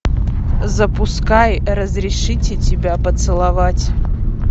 запускай разрешите тебя поцеловать